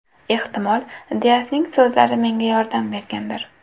Ehtimol Diasning so‘zlari menga yordam bergandir.